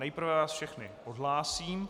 Nejprve vás všechny odhlásím.